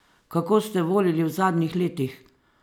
Kako ste volili v zadnjih letih?